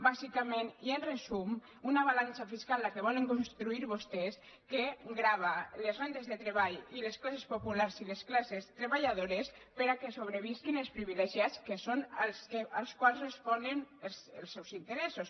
bàsicament i en resum una balança fiscal la que vo·len construir vostès que grava les rendes de treball les classes popular i les classes treballadores perquè sobrevisquin els privilegiats que són als quals res·ponen els seus interessos